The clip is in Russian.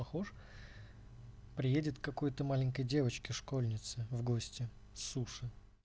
похож приедет какой-то маленькой девочки школьницы в гости суши